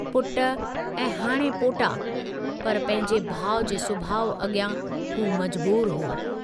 पुट ऐं हाणे पोटा, पर पंहिंजे भाउ जे सुभाव अॻियां हू मजबूर हो।